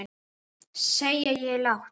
sagði ég lágt.